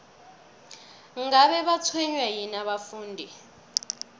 ngabe batshwenywa yini abafundi